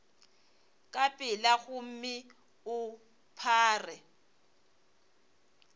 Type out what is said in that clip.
ka pela gomme o phare